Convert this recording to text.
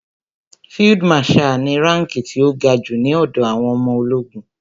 Field marshal ni ránkí ti ó ga jù ní ọ̀dọ̀ àwọn ọmọ ológun.